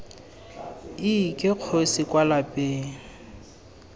iii ke kgosi kwa lapeng